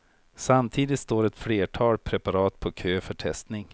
Samtidigt står ett flertal preparat på kö för testning.